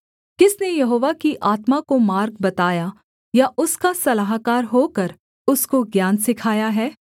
किसने यहोवा की आत्मा को मार्ग बताया या उसका सलाहकार होकर उसको ज्ञान सिखाया है